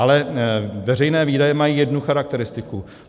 Ale veřejné výdaje mají jednu charakteristiku.